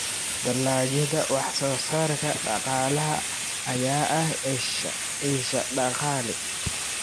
Dalagyada wax-soo-saarka dhaqaalaha ayaa ah isha dakhli.